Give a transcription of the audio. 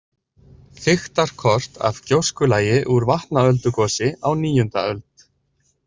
Þykktarkort af gjóskulagi úr Vatnaöldugosi á níunda öld.